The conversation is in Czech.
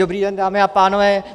Dobrý den, dámy a pánové.